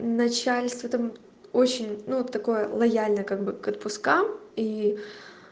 начальство там очень ну такое лояльно как бы к отпускам и